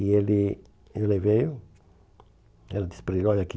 E ele ele veio, ela disse para ele, olha aqui,